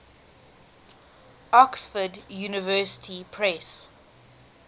oxford university press